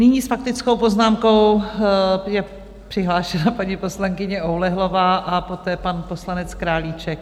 Nyní s faktickou poznámkou je přihlášena paní poslankyně Oulehlová a poté pan poslanec Králíček.